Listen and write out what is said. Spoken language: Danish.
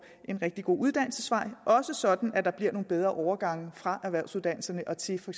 en rigtig god uddannelsesvej også sådan at der bliver nogle bedre overgange fra erhvervsuddannelse og til for